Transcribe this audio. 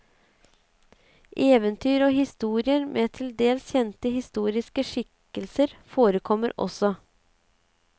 Eventyr og historier med til dels kjente historiske skikkelser forekommer også.